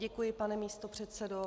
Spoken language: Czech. Děkuji, pane místopředsedo.